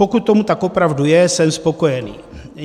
Pokud tomu tak opravdu je, jsem spokojený.